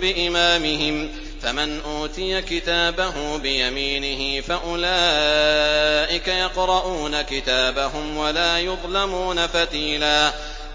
بِإِمَامِهِمْ ۖ فَمَنْ أُوتِيَ كِتَابَهُ بِيَمِينِهِ فَأُولَٰئِكَ يَقْرَءُونَ كِتَابَهُمْ وَلَا يُظْلَمُونَ فَتِيلًا